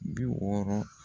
Bi wɔɔrɔ